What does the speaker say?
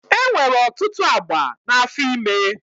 E nwere ọtụtụ agba n'afọ ime.